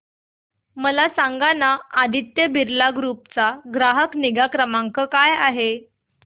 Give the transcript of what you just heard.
मला सांगाना आदित्य बिर्ला ग्रुप चा ग्राहक निगा क्रमांक काय आहे